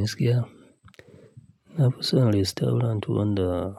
Gaskiya ya. Na fi son restorant wanda